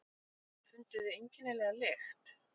Funduð þið einkennilega lykt?